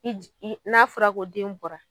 Ni j i n'a fɔra ko den bɔra